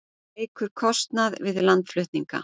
Eykur kostnað við landflutninga